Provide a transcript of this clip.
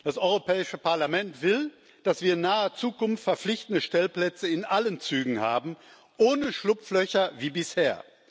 Das Europäische Parlament will, dass wir in naher Zukunft verpflichtende Stellplätze in allen Zügen haben ohne Schlupflöcher wie bisher.